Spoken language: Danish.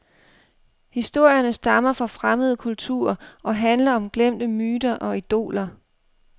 Historierne stammer fra fremmede kulturer og handler om glemte myter og idoler.